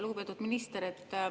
Lugupeetud minister!